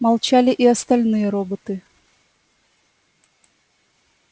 молчали и остальные роботы